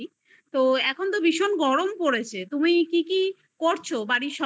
তো এখন তো ভীষণ গরম পড়েছে তুমি কি কি করছো বাড়ির